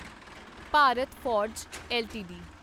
Bharat Forge LTD